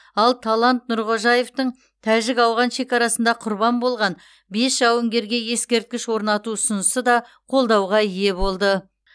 ал талант нұрғожаевтың тәжік ауған шекарасында құрбан болған бес жауынгерге ескерткіш орнату ұсынысы да қолдауға ие болды